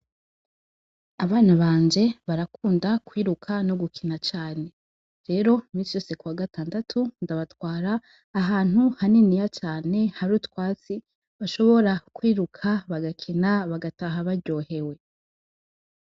Abana banje barakunda kwiruka no gukina cane, iminsi yose kuwagatandatu, ndabatwara ahantu hanini hari utwatsi bashobora kwiruka bagakina bagataha baryohewe.